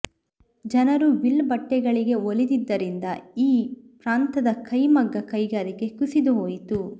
ಜನರು ಮಿಲ್ ಬಟ್ಟೆಗಳಿಗೆ ಒಲಿದಿದ್ದರಿಂದ ಈ ಪ್ರಾಂತದ ಕೈ ಮಗ್ಗ ಕೈಗಾರಿಕೆ ಕುಸಿದು ಹೋಯಿತು